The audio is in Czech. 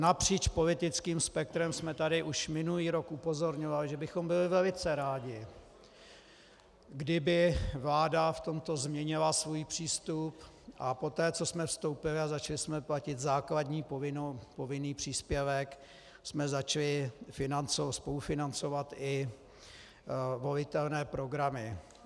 Napříč politickým spektrem jsme tady už minulý rok upozorňovali, že bychom byli velice rádi, kdyby vláda v tomto změnila svůj přístup, a poté co jsme vstoupili a začali jsme platit základní povinný příspěvek, jsme začali spolufinancovat i volitelné programy.